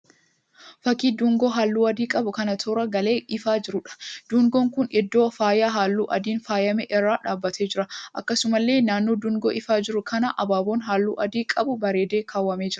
Fakkii dungoo halluu adii qabu kan toora galee ifaa jiruudha. Dungoon kun iddoo faaya halluu adiin faayyame irra dhaabbatee jira. Akkasumallee naannoo dungoo ifaa jiru kana abaaboon halluu adii qabu bareedee kaawwamee jira.